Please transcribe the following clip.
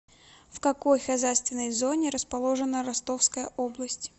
в какой хозяйственной зоне расположена ростовская область